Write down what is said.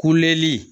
Kuleli